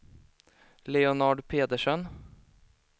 Leonard Pedersen